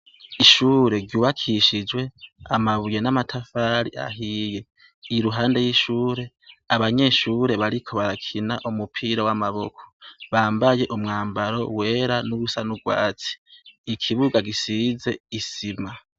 Ishure ryubakishijwe amabuye n'amatafari ahiye. Iruhande y'ishure, abanyeshure bariko barakina umupira w'amaboko bambaye umwambaro wera n'uwusa n'urwatsi. Ikibuga gisize isima.